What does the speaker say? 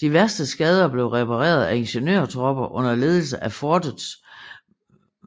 De værste skader blev repareret af ingeniørtropper under ledelse af fortets